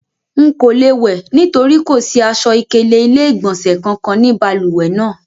Nko le wẹ nitori ko si aṣọ-ikele ile-igbọnsẹ kankan ninu baluwe naa